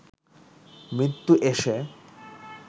মৃত্যু এসে